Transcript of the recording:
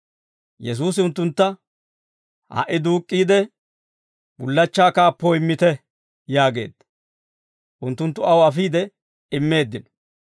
Yesuusi unttuntta, «Ha"i duuk'k'iide, bullachchaa kaappoo immite» yaageedda; unttunttu aw afiide immeeddino.